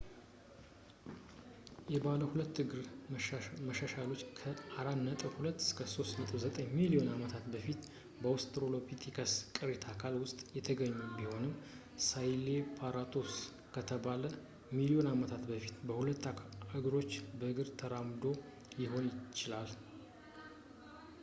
የባለ ሁለት እግር መሻሻሎች ከ 4.2-3.9 ሚሊዮን ዓመታት በፊት በአወስትራሎፒቲከስ ቅሪት አካል ውስጥ የተገኙ ቢሆንም ሳሄላንትሮፐስ ከሰባት ሚሊዮን ዓመታት በፊት በሁለት እግሮች በእግር ተራምዶ ሊሆን ይችላል፡፡